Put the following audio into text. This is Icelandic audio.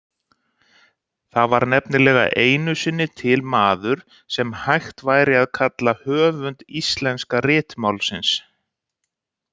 Það var nefnilega einu sinni til maður sem hægt væri að kalla höfund íslenska ritmálsins.